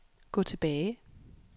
gå tilbage